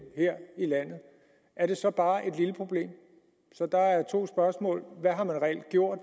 her i landet er det så bare et lille problem så der er to spørgsmål hvad har man reelt gjort